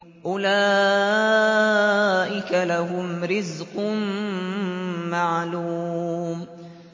أُولَٰئِكَ لَهُمْ رِزْقٌ مَّعْلُومٌ